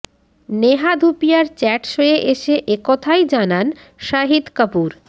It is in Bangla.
নেহা ধুপিয়ার চ্যাট শোয়ে এসে একথাই জানান শাহিদ কাপুর